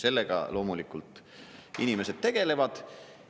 Sellega loomulikult inimesed tegelevad.